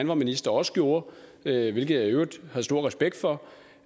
var minister også gjorde hvilket jeg i øvrigt havde stor respekt for